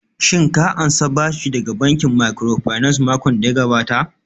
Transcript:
Shin ka ansa bashi daga bankin microfinance makon daya gabata?